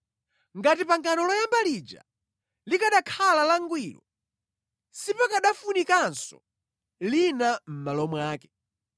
Ngati pangano loyamba lija likanakhala langwiro, sipakanafunikanso lina mʼmalo mwake.